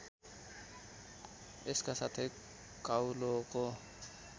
यसका साथै काउलोको